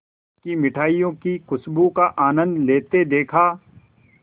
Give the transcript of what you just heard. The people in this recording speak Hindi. की मिठाइयों की खूशबू का आनंद लेते देखा